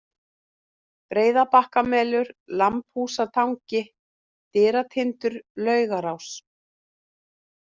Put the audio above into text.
Breiðabakkamelur, Lambhústangi, Dyratindur, Laugarás